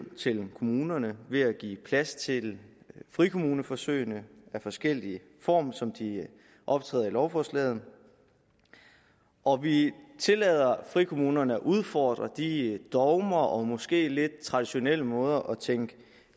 til kommunerne ved at give plads til frikommuneforsøg i forskellige former som de optræder i lovforslaget og vi tillader frikommunerne at udfordre de dogmer og måske lidt traditionelle måder at tænke